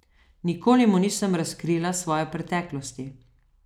Nikoli mu nisem razkrila svoje preteklosti.